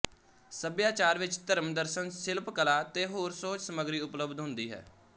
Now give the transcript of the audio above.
ਸਭਿਆਚਾਰ ਵਿੱਚ ਧਰਮ ਦਰਸ਼ਨ ਸਿਲਪ ਕਲਾ ਤੇ ਹੋਰ ਸੁਹਜ ਸਮੱਗਰੀ ਉਪਲਬਧ ਹੁੰਦੀ ਹੈ